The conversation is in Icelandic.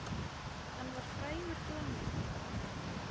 Hann var frægur glanni.